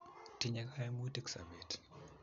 tinye kaimutik sobet